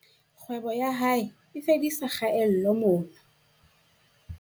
Kgwebo ya hae e fedisa kgaello mona